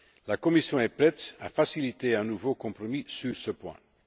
La Commission est prête à faciliter un nouveau compromis à ce sujet.